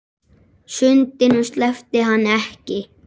Sundinu sleppti hann ekki.